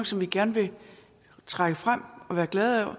som vi gerne vil trække frem og være glade